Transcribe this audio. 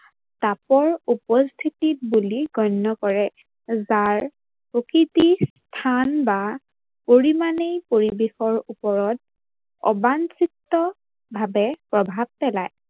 কাপৰ উপস্থিতি বুলি গণ্য কৰে। যাৰ প্ৰকৃতিৰ স্থান বা পৰিমানে পৰিৱেশৰ ওপৰত অবাঞ্চিতভাৱে প্ৰভাৱ পেলায়।